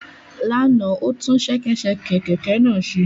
Lánàá, o tún ṣẹkẹ́ṣẹkẹ̀ kẹ̀kẹ́ náà ṣe